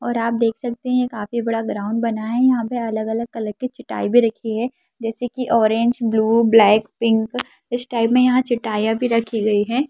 और आप देख सकते है काफी बड़ा ग्राउन्ड बना है यहां पे अलग-अलग कलर की चटाई भी रखी है जैसे कि ऑरेंज ब्लू ब्लैक पिंक इस टाइप मे यहां चटाईया भी रखी गई है।